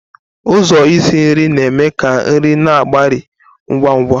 Ụzọ isi nri na-eme ka nri na-agbari ngwa ngwa.